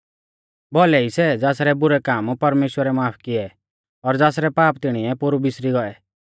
भौलै ई सै ज़ासरै बुरै काम परमेश्‍वरै माफ किऐ और ज़ासरै पाप तिणीऐ पोरु बिसरी गौऐ